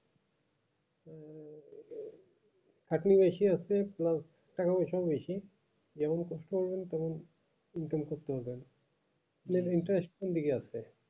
খাটনি বেশি আছে plus টাকা পয়সাও বেশি যেমন কাজ করবেন তেমন income টা করবেন interest কোনদিকে আছে